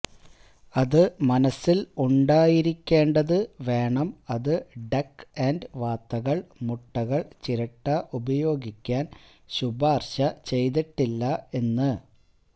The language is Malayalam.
അത് മനസ്സിൽ ഉണ്ടായിരിക്കേണ്ടത് വേണം അത് ഡക്ക് ആൻഡ് വാത്തകൾ മുട്ടകൾ ചിരട്ട ഉപയോഗിക്കാൻ ശുപാർശ ചെയ്തിട്ടില്ല എന്ന്